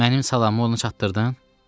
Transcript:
Mənim salamımı ona çatdırdın?